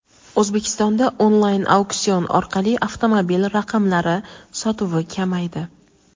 O‘zbekistonda onlayn auksion orqali avtomobil raqamlari sotuvi kamaydi.